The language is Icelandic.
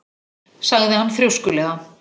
sagði hann þrjóskulega.